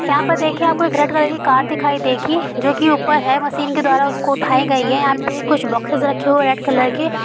यहां पर देखिए आपको एक रेड कलर की कार दिखाई देगी जोकि ऊपर है मशीन के द्वारा उसको उठाई गई है आप देखे कुछ बॉक्सेस रखे हुए है रेड कलर के।